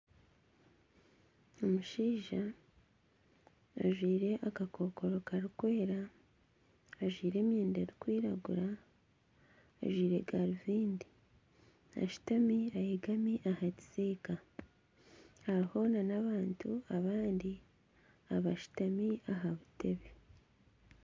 Omushaija ajwire akakokoro karikwera, ajwire emyenda erikwiragura, ajwire garubindi, ashutami ayegami aha kisiika hariho nana abantu abandi abashutami aha buteebe